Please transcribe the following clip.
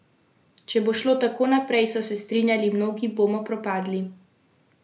Če bo šlo tako naprej, so se strinjali mnogi, bomo propadli.